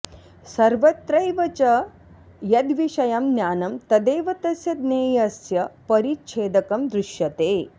सर्वत्रैव च यद्विषयं ज्ञानं तदेव तस्य ज्ञेयस्य परिच्छेदकं दृश्यते